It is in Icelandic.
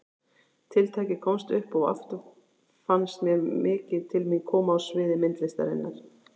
Tiltækið komst upp og aftur fannst mér mikið til mín koma á sviði myndlistarinnar.